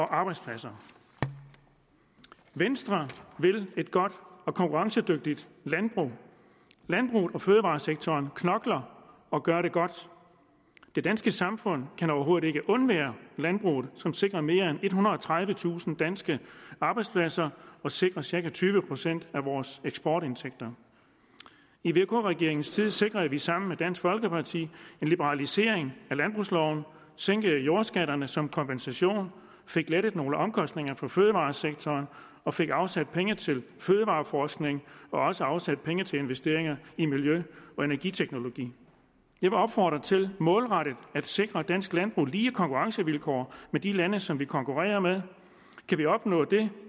arbejdspladser venstre vil et godt og konkurrencedygtigt landbrug landbruget og fødevaresektoren knokler og gør det godt det danske samfund kan overhovedet ikke undvære landbruget som sikrer mere end ethundrede og tredivetusind danske arbejdspladser og sikrer cirka tyve procent af vores eksportindtægter i vk regeringens tid sikrede vi sammen med dansk folkeparti en liberalisering af landbrugsloven sænkede jordskatterne som kompensation fik lettet nogle omkostninger for fødevaresektoren og fik afsat penge til fødevareforskning og også afsat penge til investeringer i miljø og energiteknologi jeg vil opfordre til målrettet at sikre dansk landbrug lige konkurrencevilkår med de lande som vi konkurrerer med kan vi opnå det